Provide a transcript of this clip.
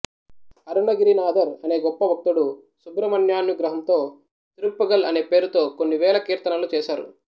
అరుణగిరినాథర్ అనే గొప్ప భక్తుడు సుబ్రహ్మణ్యానుగ్రహముతో తిరుప్పుగళ్అనే పేరుతో కొన్ని వేల కీర్తనలు చేశారు